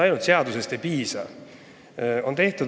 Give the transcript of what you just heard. Ainult seadusest ei piisa.